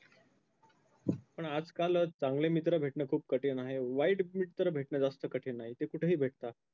पण आजकाल चांगले मित्र भेटणे खूप कठीण आहे वाईट मित्र भेटणे जास्त कठीण नाही ते कुठेही भेटतात.